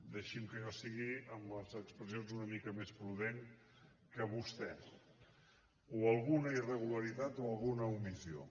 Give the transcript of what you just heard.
deixi’m que jo sigui amb les expressions una mica més prudent que vostès o alguna irregularitat o alguna omissió